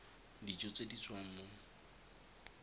dijo tse di tswang mo